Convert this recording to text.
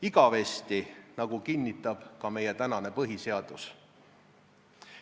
Igavesti, nagu kinnitab ka meie praegune põhiseadus.